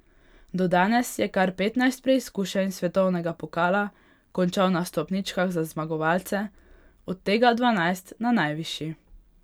Do danes je kar petnajst preizkušenj svetovnega pokala končal na stopničkah za zmagovalce, od tega dvanajst na najvišji.